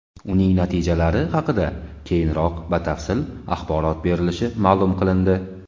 Uning natijalari haqida keyinroq batafsil axborot berilishi ma’lum qilindi.